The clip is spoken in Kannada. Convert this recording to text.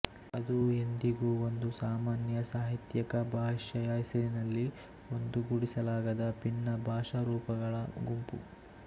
ಅದು ಎಂದಿಗೂ ಒಂದು ಸಾಮಾನ್ಯ ಸಾಹಿತ್ಯಿಕ ಭಾಷೆಯ ಹೆಸರಿನಲ್ಲಿ ಒಂದುಗೂಡಿಸಲಾಗದ ಭಿನ್ನ ಭಾಷಾರೂಪಗಳ ಗುಂಪು